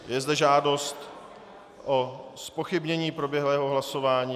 Je zde žádost o zpochybnění proběhlého hlasování.